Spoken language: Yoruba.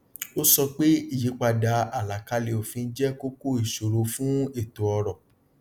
ó sọ pé ìyípadà àlàkalẹ òfin jẹ kókó ìṣòro fún ètò ọrọ